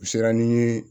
U sera ni n ye